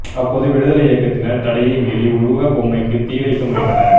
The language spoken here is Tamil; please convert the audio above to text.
அப்போது விடுதலை இயக்கத்தினர் தடையை மீறி உருவ பொம்மைக்கு தீ வைக்க முயன்றனர்